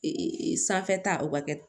sanfɛ ta o bɛ kɛ